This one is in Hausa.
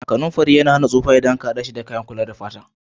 Kanumfari yana kuma hidiman hana suffa ldan an Kara si a cikin kayakin kula da fata.